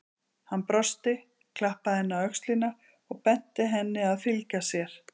Hann brosti, klappaði henni á öxlina og benti henni að fylgja sér.